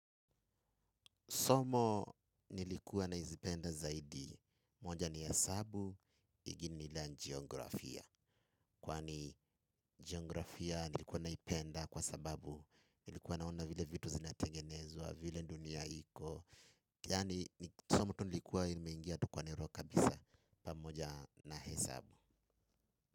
Somo nilikuwa nazipenda zaidi, moja ni hesabu, ingine ni la geografia. Kwani geografia nilikuwa naipenda kwa sababu nilikuwa naona vile vitu zinatengenezwa, vile dunia hiko. Yaani somo tu nilikuwa limeingia tu kwa nero kabisa pamoja na hesabu.